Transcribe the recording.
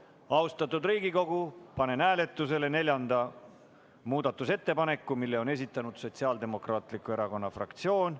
Austatud Riigikogu, panen hääletusele neljanda muudatusettepaneku, mille on esitanud Sotsiaaldemokraatliku Erakonna fraktsioon.